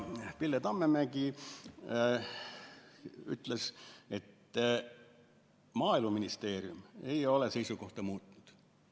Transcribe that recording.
Pille Tammemägi ütles, et Maaeluministeerium ei ole oma seisukohta muutnud.